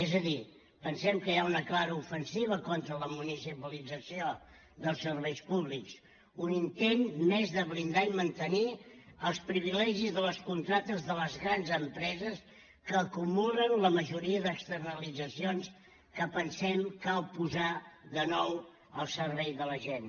és a dir pensem que hi ha una clara ofensiva contra la municipalització dels serveis públics un intent més de blindar i mantenir els privilegis de les contractes de les grans empreses que acumulen la majoria d’externalitzacions que pensem cal posar de nou al servei de la gent